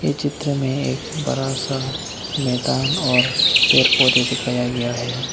ये चित्र में एक बड़ा सा मैदान और पेड़ पौधे दिखाया गया है।